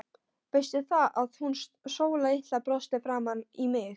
Veistu það, að hún Sóla litla brosti framan í mig.